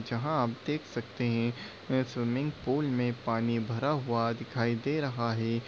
जहां आप देख सकते हैं। यह स्विमिंग पूल मे पानी भरा हुआ दिखाई दे रहा है।